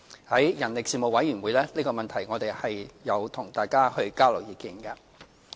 在人力事務委員會上，我們亦有就這個問題與大家交流意見。